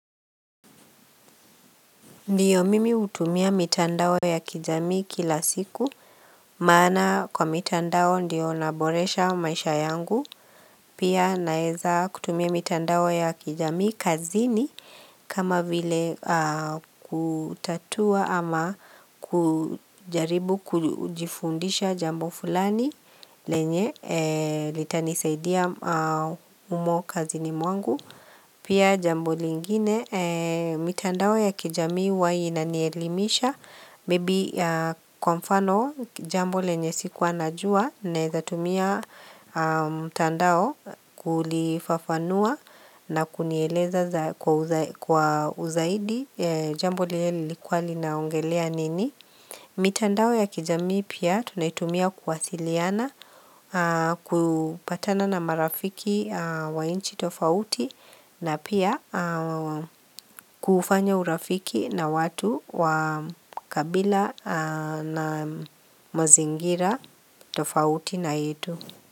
Ndiyo, mimi hutumia mitandao ya kijamii kila siku maana kwa mitandao ndio naboresha maisha yangu. Pia naweza kutumia mitandao ya kijami kazini kama vile kutatua ama kujaribu kujifundisha jambo fulani ambalo litanisaidia humo kazini mwangu. Pia jambo lingine, mitandao ya kijamii huwa inanielimisha, maybe kwa mfano jambo lenye sikuwa najua, nezatumia tandao kulifafanua na kunieleza kwa uzaidi, jambo lile lilikua linaongelea nini. Mitandao ya kijamii pia tunaitumia kuwasiliana kupatana na marafiki wa inchi tofauti na pia kufanya urafiki na watu wa kabila na mazingira tofauti na yetu.